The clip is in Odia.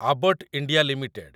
Abbott India limited